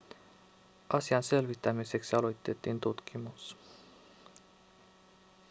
asian selvittämiseksi aloitettiin tutkimus